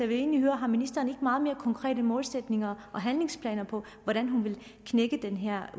vil egentlig høre om ministeren ikke har meget mere konkrete målsætninger og handlingsplaner for hvordan hun vil knække den her